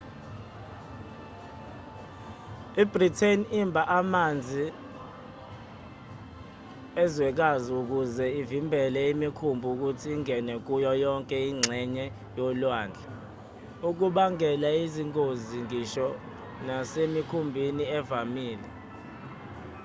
i-britain imba amanzi ezwekazi ukuze ivimbele imikhumbi ukuthi ingene kuyo yonke ingxenye yolwandle okubangela izingozi ngisho nasemikhunjini evamile